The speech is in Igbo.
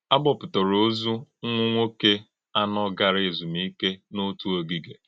À bọ̀pụ̀tàrà òzù ḿmwù̀nwọ̀ké anọ̀ gàrà èzùmìké n’òtù ògìgé.